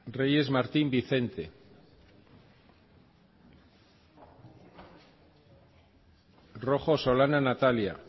reyes martín vicente rojo solana natalia